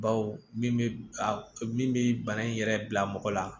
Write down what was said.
Baw min bɛ a min bɛ bana in yɛrɛ bila mɔgɔ la